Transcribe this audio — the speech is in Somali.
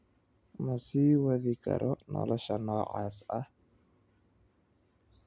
"Ma sii wadi karo nolosha noocaas ah.